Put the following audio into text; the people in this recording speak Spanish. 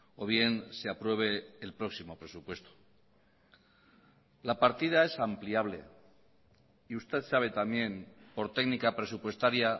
o bien se apruebe el próximo presupuesto la partida es ampliable y usted sabe también por técnica presupuestaria